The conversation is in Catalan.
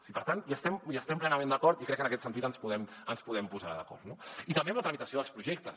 i per tant hi estem plenament d’acord i crec que en aquest sentit ens podem posar d’acord no i també en la tramitació dels projectes